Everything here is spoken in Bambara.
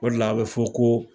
O de la a bɛ fɔ ko